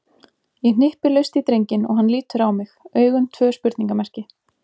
Ég hnippi laust í drenginn og hann lítur á mig, augun tvö spurningarmerki.